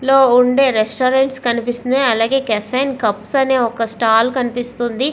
లో ఉండే రెస్టారెంట్స్ కనిపిస్తున్నాయ్. అలాగే కెఫెన్ కప్స్ అనే ఒక స్టాల్ కనిపిస్తుంది.